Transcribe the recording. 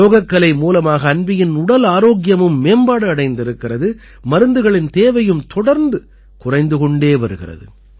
யோகக்கலை மூலமாக அன்வீயின் உடல் ஆரோக்கியமும் மேம்பாடு அடைந்திருக்கிறது மருந்துகளின் தேவையும் தொடர்ந்து குறைந்து கொண்டே வருகிறது